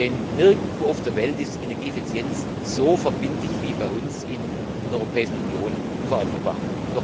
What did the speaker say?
Denn nirgendwo auf der Welt ist Energieeffizienz so verbindlich wie bei uns in der Europäischen Union vorangebracht.